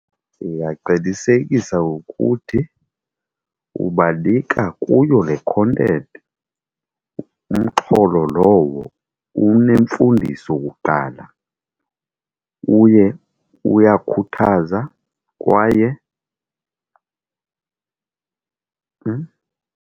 Ndingaqinisekisa ukuthi ubanika kuyo le content, umxholo lowo unemfundiso kuqala uye uyakhuthaza kwaye .